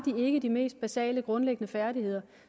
ikke de mest basale grundlæggende færdigheder